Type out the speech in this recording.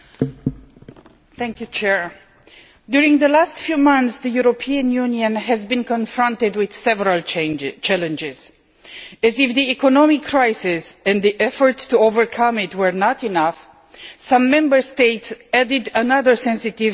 Madam President, over the last few months the European Union has been confronted with several challenges. As if the economic crisis and the efforts to overcome it were not enough, some Member States have added another sensitive point to the agenda.